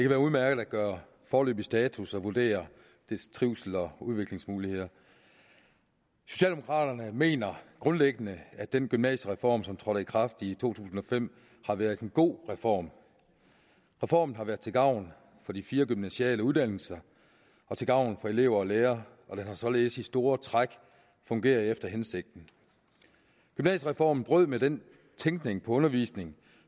være udmærket at gøre foreløbig status og vurdere dets trivsel og udviklingsmuligheder socialdemokraterne mener grundlæggende at den gymnasiereform som trådte i kraft i to tusind og fem har været en god reform reformen har været til gavn for de fire gymnasiale uddannelser og til gavn for elever og lærere og den har således i store træk fungeret efter hensigten gymnasiereformen brød med den tænkning om undervisning